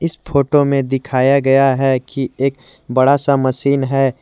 इस फोतो में दिखाया गया है कि एक बड़ा सा मशीन है।